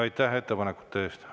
Aitäh ettepanekute eest!